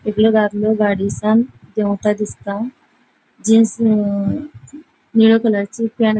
एकलो दादलो गाड़ीसांन देवता दिसता जीन्स निळ्या कलरची पैन्ट --